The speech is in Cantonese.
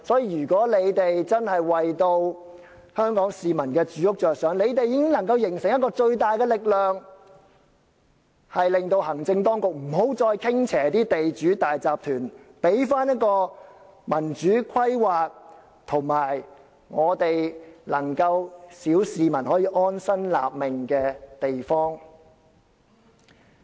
如果他們真的為香港市民的住屋着想，他們已經能夠形成一股最大的力量，令行政當局不再向地主和大集團傾斜，還我們一個有民主規劃而小市民可以安身立命的地方。